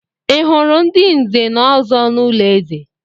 Ị hụrụ ndị Nze na Ọzọ n'ụlọ eze?